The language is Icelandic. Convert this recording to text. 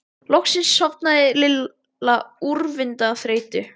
Loksins sofnaði Lilla úrvinda af þreytu.